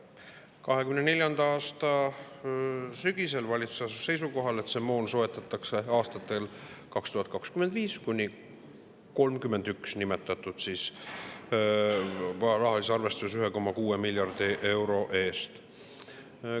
2024. aasta sügisel asus valitsus seisukohale, et see moon soetatakse aastatel 2025–2031 nimetatud, 1,6 miljardi euro eest.